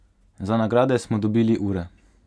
Za nagrade smo dobili ure.